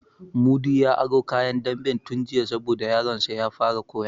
Mudi ya aro kayan damben tun jiya sabo da yaron sa ya fara koya